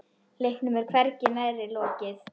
Leiknum er hvergi nærri lokið.